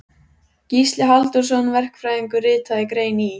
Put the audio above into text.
Gísli Halldórsson verkfræðingur ritaði grein í